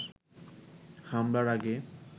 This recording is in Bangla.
হামলার আগে